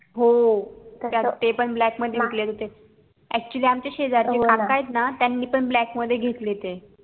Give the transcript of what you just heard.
हो ते पण black मध्ये विकले जात होते actually आमच्या शेजारचे काका येत ना त्यानी पण black मध्ये घेतले ते